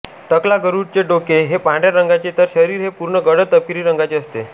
टकला गरुड चे डोके हे पांढऱ्या रंगाचे तर शरीर हे पूर्ण गडद तपकिरी रंगाचे असते